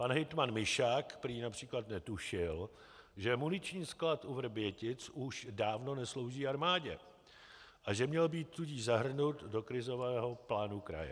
Pan Hejtman Mišák prý například netušil, že muniční sklad u Vrbětic už dávno nesouží armádě, a že měl být tudíž zahrnut do krizového plánu kraje.